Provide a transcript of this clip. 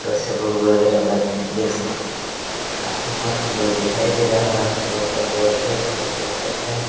वगेरा देख सकते हैं | काफी मस्त लुक दिखाई दे रहा होगा आपलोगो को और जबरदस्त लुक देख सकते हैं ।